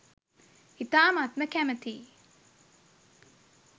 ඉතාමත්ම කැමතියි